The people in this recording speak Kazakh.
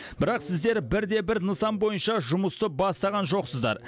бірақ сіздер бірде бір нысан бойынша жұмысты бастаған жоқсыздар